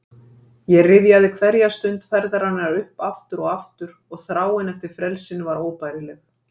Ég rifjaði hverja stund ferðarinnar upp aftur og aftur og þráin eftir frelsinu var óbærileg.